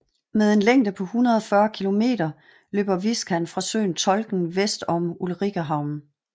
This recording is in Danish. Med en længde på 140 km løber Viskan fra søen Tolken vest om Ulricehamn